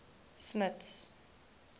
smuts